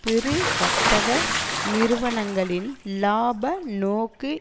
பெரு வர்த்தக நிறுவனங்களின் இலாப நோக்கு